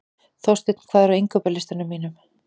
Þorsteinn, hvað er á innkaupalistanum mínum?